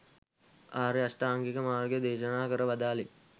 ආර්ය අෂ්ටාංගික මාර්ගය දේශනා කර වදාළේ